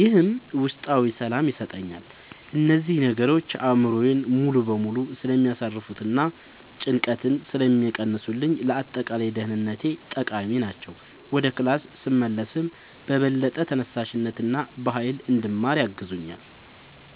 ይህም ውስጣዊ ሰላም ይሰጠኛል። እነዚህ ነገሮች አእምሮዬን ሙሉ በሙሉ ስለሚያሳርፉትና ጭንቀትን ስለሚቀንሱልኝ ለአጠቃላይ ደህንነቴ ጠቃሚ ናቸው። ወደ ክላስ ስመለስም በበለጠ ተነሳሽነትና በሃይል እንድማር ያግዙኛል።